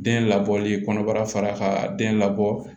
Den labɔli kɔnɔbara fara ka den labɔ